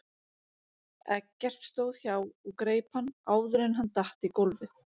Eggert stóð hjá og greip hann áður en hann datt í gólfið.